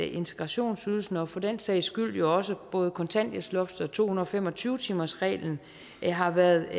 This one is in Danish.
integrationsydelsen og for den sags skyld også både kontanthjælpsloftet og to hundrede og fem og tyve timersreglen har været